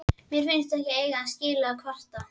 Mér finnst ég ekki eiga skilið að kvarta.